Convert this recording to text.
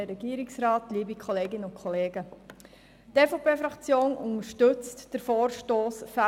Die EVP-Fraktion unterstützt den Vorstoss «[...